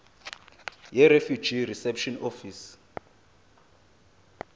yirefugee reception office